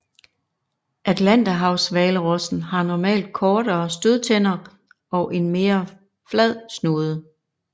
Atlanterhavshvalrossen har normalt kortere stødtænder og en mere flad snude